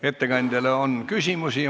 Ettekandjale on küsimusi.